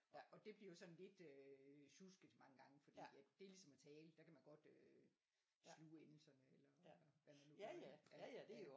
Og og det bliver sådan lidt øh sjusket mange gange fordi at det er ligesom at tale der kan man godt øh sluge endelserne eller hvad man nu gør ja